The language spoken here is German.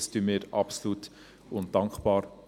Das anerkennen wir absolut und sind dankbar.